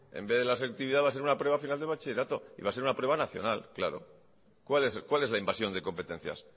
en vez de la selectividad va a ser una prueba final de bachillerato va a ser una prueba nacional cuál es la invasión de incompetencias